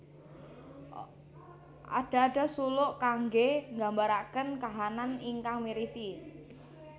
Ada ada suluk kangge mggambaraken kahanan ingkang mirisi